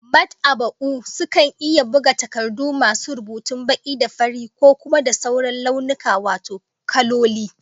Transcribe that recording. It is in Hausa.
Mad'aba'u sukan iya buga takardu masu rubutun baki da farin, ko kuma da sauran launuka wato kaloli